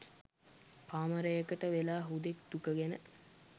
කාමරයකට වෙලා හුදෙක් දුක ගැන